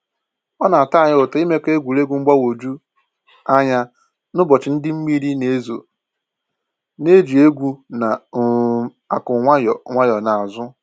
Ọ na-atọ anyị ụtọ ịmekọ egwuregwu mgbagwoju anya n'ụbọchị ndị mmiri na ezo, na-eji egwu na um akụ nwayọ nwayọ na azụ